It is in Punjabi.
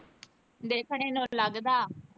ਦੇਖਣੇ ਨੂੰ ਲੱਗਦਾ।